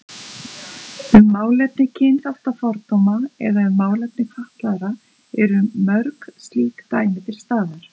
Um málefni kynþáttafordóma eða um málefni fatlaðra eru mörg slík dæmi til staðar.